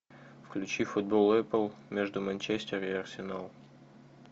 включи футбол апл между манчестер и арсенал